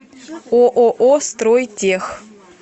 ооо стройтех